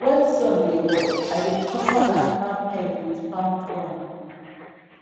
when sun dey hot i dey cover animal pen with palm frond